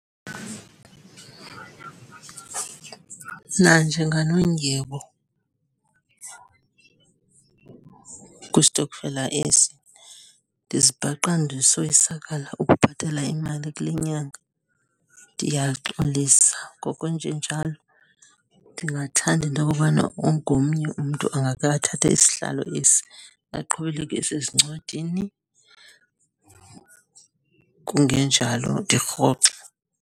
Nanjenganondyebo kwistokfela esi, ndizibhaqa ndisoyisakala ukubhatala imali kule nyanga. Ndiyaxolisa ngokwenjenjalo. Ndingathanda into okobana ongomnye umntu angake athathe isihlalo esi, aqhubeleke esezincwadini, kungenjalo ndirhoxe.